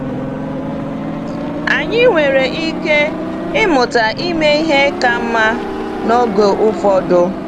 Anyị nwere ike ịmụta ime ihe ka mma n’oge ụfọdụ.